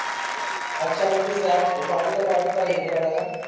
अच्छा म्हणजे च्या पाठी ला पाठवत आहे कुर्ला.